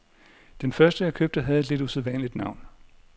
Den første jeg købte, havde et lidt usædvanligt navn.